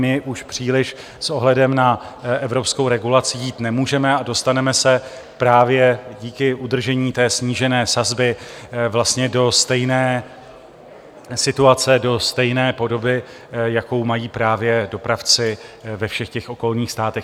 My už příliš s ohledem na evropskou regulaci jít nemůžeme a dostaneme se právě díky udržení té snížené sazby vlastně do stejné situace, do stejné podoby, jakou mají právě dopravci ve všech těch okolních státech.